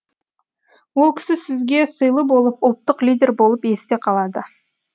ол кісі бізге сыйлы болып ұлттық лидер болып есте қалады